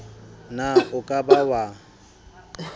na o ka ba wa